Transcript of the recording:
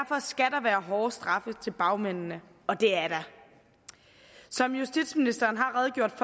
være hårde straffe til bagmændene og det er der som justitsministeren har redegjort